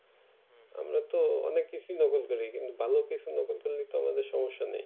আমরা তো অনেক কিছুই নকল করি কিন্তু ভালো কিছু নকল করলে তো আমাদের সম্যসা নেই